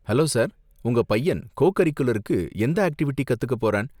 Hello sir, உங்க பையன் கோ கரிகுலருக்கு எந்த ஆக்டிவிட்டி கத்துக்க போறான்?